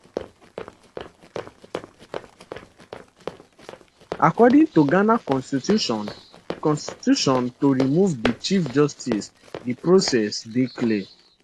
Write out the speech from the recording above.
according to ghana constitution constitution to remove di chief justice di process dey clear